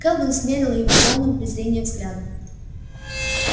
кэлвин смерила его полным презрения взглядом